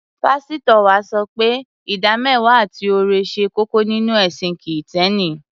Pásítọ̀ wa sọ pé ìdámẹ́wàá àti ọrẹ ṣe kókó nínú ẹ̀sìn Kìtẹ́ẹ́nì.